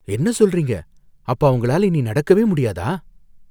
என்ன சொல்றீங்க? அப்ப அவங்களால இனி நடக்கவே முடியாதா?